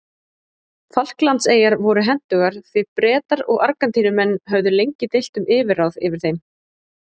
Falklandseyjar voru hentugar því Bretar og Argentínumenn höfðu lengi deilt um yfirráð yfir þeim.